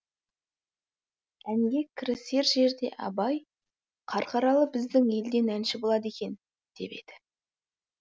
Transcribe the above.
әнге кірісер жерде абай қарқаралы біздің елден әнші болады екен деп еді